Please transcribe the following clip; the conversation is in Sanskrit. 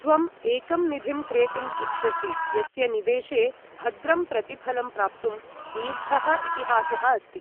त्वम् एकं निधिं क्रेतुं इच्छसि यस्य निवेशे भद्रं प्रतिफलं प्राप्तुं दीर्घः इतिहासः अस्ति ।